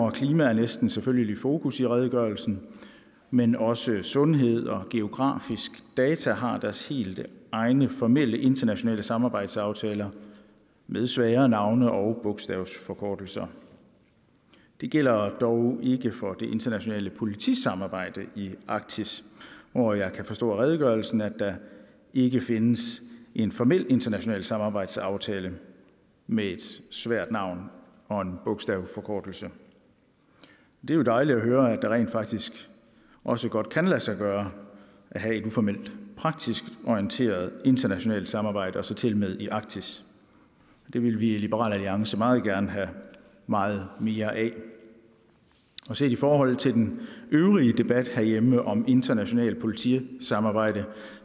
og klima er næsten selvfølgelig i fokus i redegørelsen men også sundhed og geografiske data har deres helt egne formelle internationale samarbejdsaftaler med svære navne og bogstavsforkortelser det gælder dog ikke for det internationale politisamarbejde i arktis hvor jeg kan forstå af redegørelsen at der ikke findes en formel international samarbejdsaftale med et svært navn og en bogstavsforkortelse det er jo dejligt at høre at det rent faktisk også godt kan lade sig gøre at have uformelt praktisk orienteret internationalt samarbejde og så til og med i arktis det vil vi i liberal alliance meget gerne have meget mere af set i forhold til den øvrige debat herhjemme om internationalt politisamarbejde